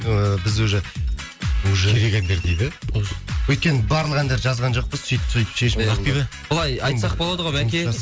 ыыы біз уже уже керек әндер дейді өйткені барлық әндерді жазған жоқпыз сөйтіп сөйтіп шешім қабылдап ақбибі былай айтсақ болады ғой бәке